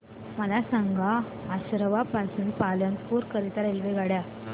मला सांगा असरवा पासून पालनपुर करीता रेल्वेगाड्या